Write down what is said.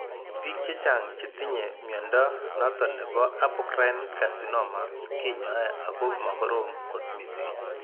Biik chechang chetinye mnyondo noton nebo apocrine carcinoma kinyae ako ma korom kot missing